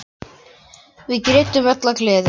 Við grétum öll af gleði.